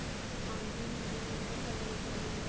ਹਾਂਜੀ ਹੁੰਦਿਆ ਨੇ ਜੀ colors ਵਾਲੀ ਵੀ